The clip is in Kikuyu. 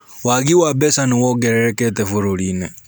Wagi wa mbeca nĩwongererekete bũrũrinĩ.